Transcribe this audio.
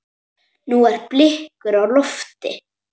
Nú eru blikur á lofti.